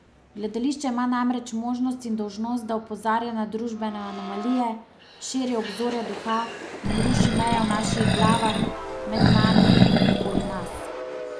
Gledališče ima namreč možnost in dolžnost, da opozarja na družbene anomalije, širi obzorja duha in ruši meje v naših glavah, med nami in okoli nas.